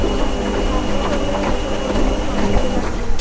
ହଁ ଶାଗ ପରିବା ଏ ତ କହୁଛି ମୋର ଶଙ୍କିରେ ଲାଗିଯାଉଛି।